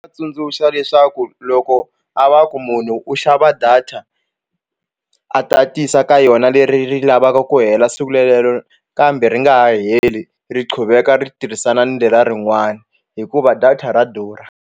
tsundzuxa leswaku loko a va ku munhu u xava data a tatisa ka yona leri ri lavaka ku hela siku relero kambe ri nga heli ri quveka ri tirhisana ni leriya rin'wani hikuva data ra durha.